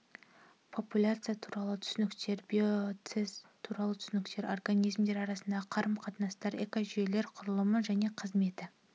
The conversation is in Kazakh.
популяция туралы түсініктер биоценоз туралы түсініктер организмдер арасындағы қарым-қатынастар экожүйелер құрылымы және қызметі